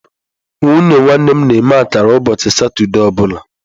Nwunye nwanne m na-eme akara ụbọchị Satọde ọ bụla